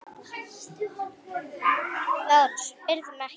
LÁRUS: Spyrðu mig ekki!